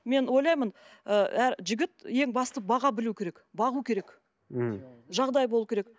мен ойлаймын ы жігіт ең басты баға білуі керек бағу керек м жағдайы болу керек